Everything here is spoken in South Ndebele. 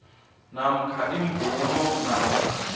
namkha imvumo namkha